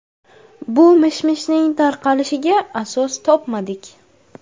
Bu mish-mishning tarqalishiga asos topmadik.